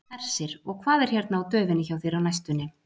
Hersir: Og hvað er hérna á döfinni hjá þér á næstunni?